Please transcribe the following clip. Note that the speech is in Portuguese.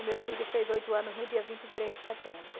O meu filho fez oito anos no dia vinte e três de setembro.